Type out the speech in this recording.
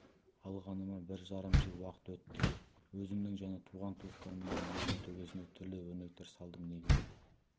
алғаныма бір жарым жыл уақыт өтті өзімнің және туған-туыстарымның үйлерінің төбесіне түрлі өрнектер салдым негізі